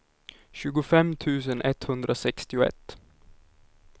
tjugofem tusen etthundrasextioett